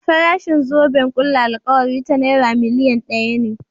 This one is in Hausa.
Farashin zoben ƙulla alkawarin ta Naira miliyan ɗaya ne.